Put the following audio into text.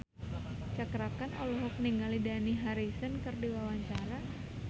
Cakra Khan olohok ningali Dani Harrison keur diwawancara